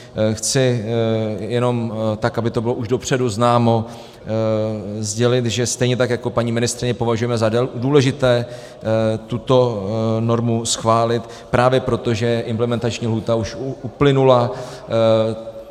Chci jenom, tak aby to bylo už dopředu známo, sdělit, že stejně tak jako paní ministryně považujeme za důležité tuto normu schválit právě proto, že implementační lhůta už uplynula.